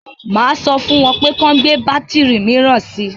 Máa sọ fún wọn kí wọn gbé bátìrì míràn si.